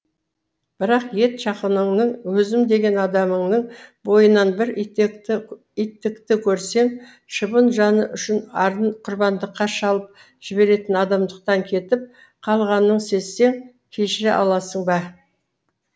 бірақ ет жақыныңның өзім деген адамыңның бойынан бір иттікті көрсең шыбын жаны үшін арын құрбандыққа шалып жіберетін адамдықтан кетіп қалғанын сезсең кешіре аласың ба